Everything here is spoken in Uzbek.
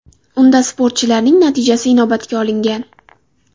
Unda sportchilarning natijasi inobatga olingan.